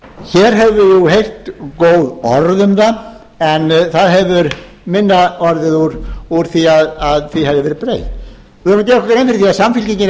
hér höfum við heyrt góð orð um það en það hefur minna orðið úr því að því hefði verið breytt við verðum að